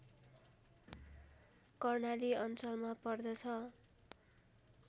कर्णाली अञ्चलमा पर्दछ